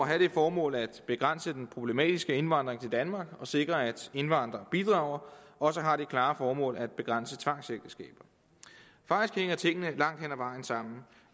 have det formål at begrænse den problematiske indvandring til danmark og sikre at indvandrere bidrager også har det klare formål at begrænse tvangsægteskaber faktisk hænger tingene langt vejen sammen